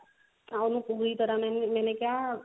ਤਾਂ ਉਹਨੂੰ ਪੂਰੀ ਤਰਾਂ ਮੈਂ ਕਿਹਾ